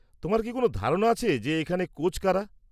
তোমার কি কোনও ধারণা আছে যে এখানে কোচ কারা?